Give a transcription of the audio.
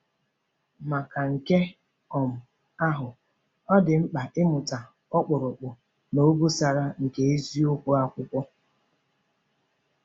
Maka nke um ahụ, ọ dị mkpa ịmata “ọkpụrụkpụ na obosara” nke eziokwu Akwụkwọ.